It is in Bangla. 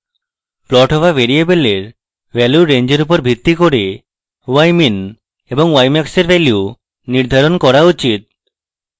প্লট হওয়া ভ্যারিয়েবলের ভ্যালুর range উপর ভিত্তি করে ymin এবং ymax এর value নির্ধারণ করা উচিত